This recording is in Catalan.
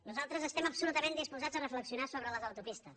nosaltres estem absolutament disposats a reflexionar sobre les autopistes